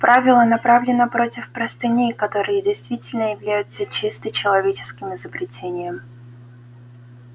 правило направлено против простыней которые действительно являются чисто человеческим изобретением